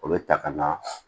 O bɛ ta ka na